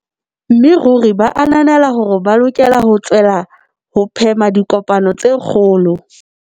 Mme ruri ba ananela hore ba lokela ho tswella ho phema dipokano tse kgolo.